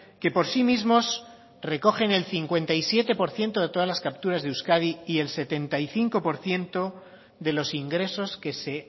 que por sí mismos recogen el cincuenta y siete por ciento de todas las capturas de euskadi y el setenta y cinco por ciento de los ingresos que se